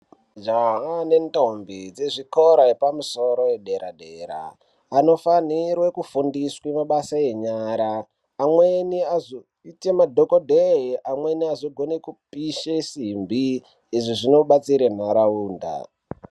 Majaha nendombi dzezvikora zvedera zvepamusoro soro anofanirwa kufundiswa mabasa enyara amweni azoita madhokodheya amweni azokona kupisha simbi izvi zvinobatsira nharaunda.